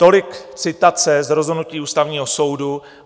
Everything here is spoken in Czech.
- Tolik citace z rozhodnutí Ústavního soudu.